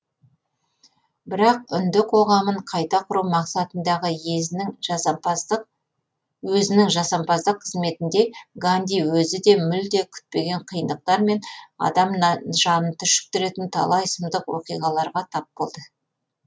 бірақ үнді қоғамын қайта құру мақсатындағы өзінің жасампаздық қызметінде ганди өзі де мүлде күтпеген қиындықтар мен адам жанын түршіктіретін талай сұмдық уақиғаларға тап болды